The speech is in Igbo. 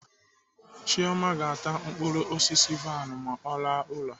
Chioma ga-ata mkpụrụ osisi vain ma ọ laa ụlọ.